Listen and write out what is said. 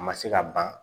A ma se ka ban